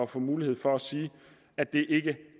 få mulighed for at sige at det ikke